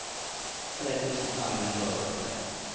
tre tusen fem hundre og førtitre